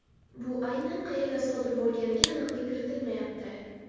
Bu aynan qayerda sodir bo‘lganiga aniqlik kiritilmayapti.